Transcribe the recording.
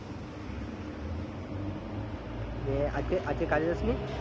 ইয়ে আজকে কাজে যাসনি